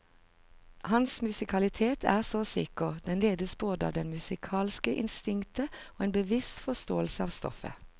Hans musikalitet er så sikker, den ledes både av det musikalske instinktet og en bevisst forståelse av stoffet.